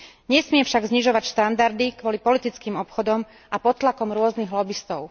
Nesmie však znižovať štandardy kvôli politickým obchodom a pod tlakom rôznych lobistov.